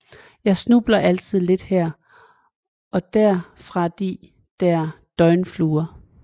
Jeg snubber altid lidt her og der fra de der døgnfluer